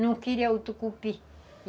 Não queria o tucupi.